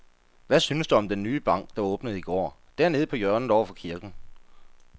Hvad synes du om den nye bank, der åbnede i går dernede på hjørnet over for kirken?